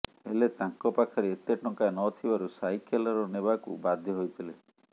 ହେଲେ ତାଙ୍କ ପାଖରେ ଏତେ ଟଙ୍କା ନଥିବାରୁ ସାଇକେଲର ନେବାକୁ ବାଧ୍ୟ ହୋଇଥିଲେ